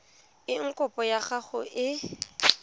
eng kopo ya gago e